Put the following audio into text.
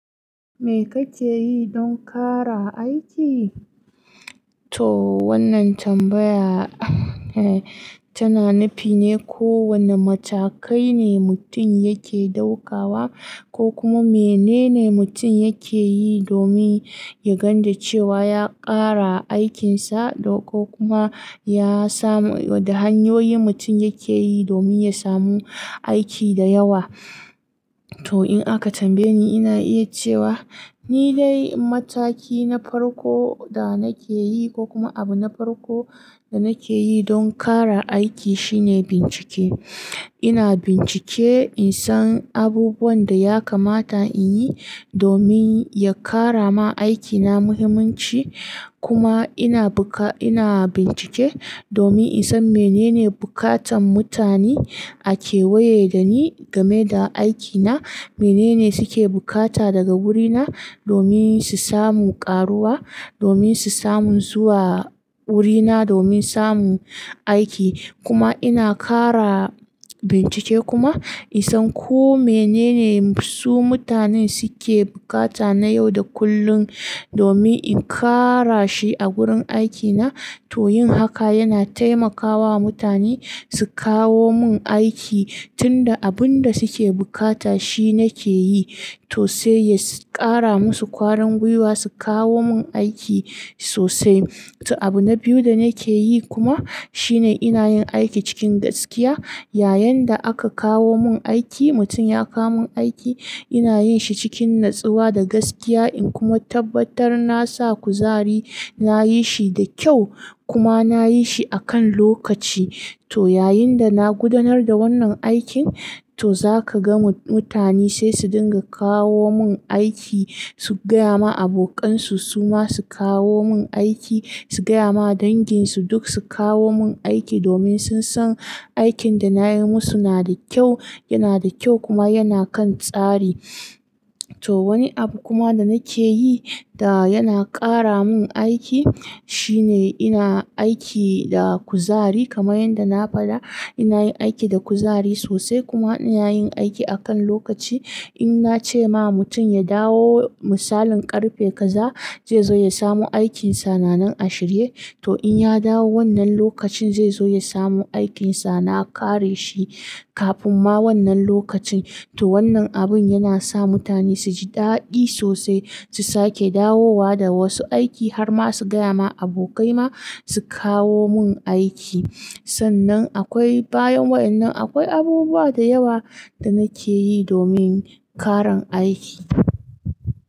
Me kake yi don ƙara aiki? To wannan tambaya tana nufine ko wane matakai ne mutum yake ɗaukawa ko kuma menene mutum yake yi domin ya gane cewa ya ƙara aikinsa ko kuma ya samu, da hanyoyin mutum yake yi domin ya samu aiki da yawa. To in aka tambaye ni, ina iya cewa ni dai mataki na farko da nake yi ko kuma abu na farko da nake yi don ƙara aiki shine bincike. Ina bincike in san abubuwan da ya kamata in yi domin ya ƙara ma aikina muhimmanci. Kuma ina buka, ina bincike domin in san menene bukatan mutane ake waye da ni game da aikina, menene suke bukata daga wurina domin su samu ƙaruwa, domin su samu zuwa wurina, domin samu aiki. Kuma ina ƙara bincike kuma in san ko menene su mutane suke bukata na yau da kullum domin in kara shi a gurin aikina. To yin haka yana taimakawa mutane su kawo mun aiki tunda abun da suke bukata shi nake yi. To sai ya ƙara musu ƙwarin gwiwa su kawo mun aiki sosai. To abu na biyu da nake yi kuma shine ina yin aiki cikin gaskiya. Yayinda aka kawo mun aiki, mutum ya kawo mun aiki, ina yin shi cikin natsuwa da gaskiya, in kuma tabbatar na sa kuzari, nayi shi da kyau kuma nayi shi a kan lokaci. To yayinda na gudanar da wannan aikin, to zaka ga mu-mutane sai su dinga kawo mun aiki, su gaya ma abokansu su ma su kawo mun aiki, su gaya ma danginsu duk su kawo mun aiki domin sun san aikin da nayi musu na da kyau, yana da kyau kuma yana kan tsari. To wani abu kuma da nake yi da yana ƙara mun aiki shine ina aiki da kuzari kamar yadda na faɗa. Ina yin aiki da kuzari sosai kuma ina yin aiki a kan lokaci. In nace ma mutum ya dawo misalin ƙarfe kaza zai zo ya samu aikinsa nanan ashirye, to in ya dawo wannan lokacin zai zo ya samu aikinsa. Na kare shi kafin ma wannan lokacin. To wannan abun yana sa mutane suji ɗaɗi sosai, su sake dawowa da wasu aiki har ma su gaya ma abokai ma su kawo mun aiki. Sannan akwai bayan wayannan akwai abubuwa da yawa da nake yi domin ƙaran aiki.